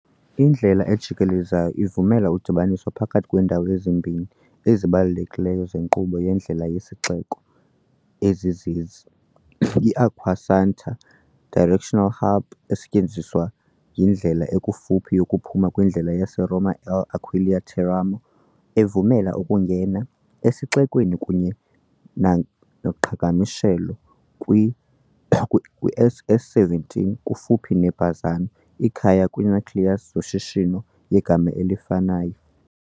Indlela ejikelezayo ivumela udibaniso phakathi kweendawo ezimbini ezibalulekileyo zenkqubo yendlela yesixeko, ezizezi, "iAcquasanta" directional hub, esetyenziswa yindlela ekufuphi yokuphuma kwindlela yaseRoma-L'Aquila-Teramo, evumela ukungena esixekweni kunye noqhagamshelo kwi- SS 17. kufuphi ne-Bazzano, ikhaya kwi-nucleus yezoshishino yegama elifanayo.